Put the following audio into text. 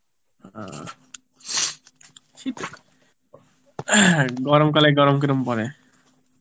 আ গরমকালে গরম কেমন পড়ে?